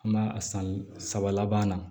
An b'a a san saba laban na